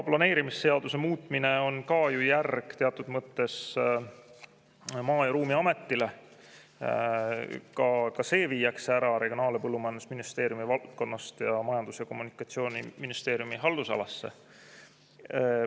Planeerimisseaduse muutmine on ka ju teatud mõttes järg Maa- ja Ruumiametile, ka see viiakse ära Regionaal- ja Põllumajandusministeeriumi haldusalast Majandus- ja Kommunikatsiooniministeeriumi omasse.